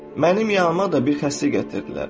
Mənim yanıma da bir xəstə gətirdilər.